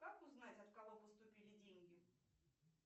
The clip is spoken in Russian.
как узнать от кого поступили деньги